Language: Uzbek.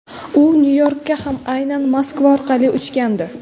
U Nyu-Yorkka ham aynan Moskva orqali uchgandi.